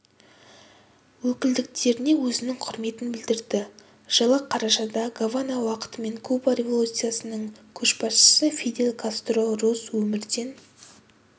өкілдіктеріне өзінің құрметін білдірді жылы қарашада гавана уақытымен куба революциясының көшбасшысы фидель кастро рус өмірден